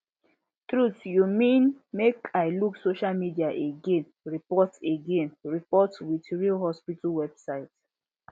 truth you mean make i luke social media again report again report with real hospital website